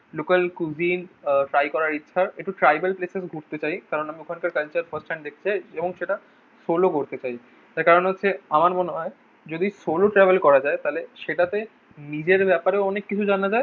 Local cuisine uh try করার ইচ্ছা একটু tribal place এ ঘুরতে চাই। কেন না আমি ওখানকার culture first hand দেখতে চাই এবং সেটা সোলো করতে চাই। তার কারণ হচ্ছে আমার মনে হয় যদি solo travel করা যায় তাহলে সেটাতে নিজের ব্যাপারে অনেক কিছু জানা যায়।